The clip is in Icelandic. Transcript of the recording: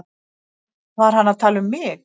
Var hann að tala um mig?